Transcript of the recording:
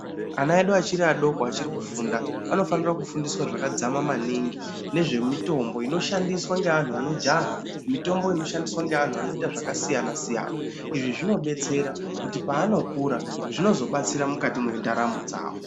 Vana vedu vachiri vadoko vachiri kufunda vanofana funda zvakajeka zvakadzama maningi nezvemitombo inoshandiswa nevantu vanojaha mitombo inoshandiswa neantu anoita zvakasiyana siyana Izvi zvinodetsera kuti panokura zvinozobatsira Mukati mendaramo dzawo.